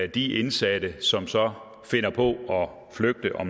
de indsatte som så finder på at flygte og